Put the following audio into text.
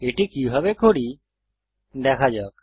এটি কিভাবে করি দেখা যাক